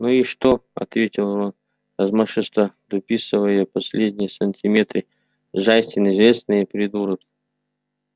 ну и что ответил рон размашисто дописывая последние сантиметры джастин известный придурок